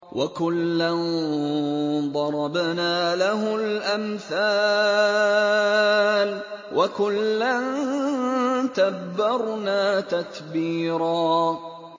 وَكُلًّا ضَرَبْنَا لَهُ الْأَمْثَالَ ۖ وَكُلًّا تَبَّرْنَا تَتْبِيرًا